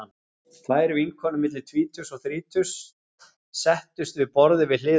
Tvær vinkonur milli tvítugs og þrítugs settust við borðið við hliðina á okkur.